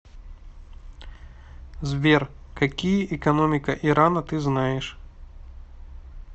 сбер какие экономика ирана ты знаешь